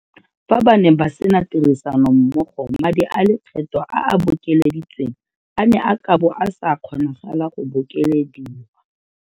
Fa ba ne ba sena tirisanommogo madi a lekgetho a a bokeleditsweng a ne a ka bo a sa kgonagala go bokelediwa.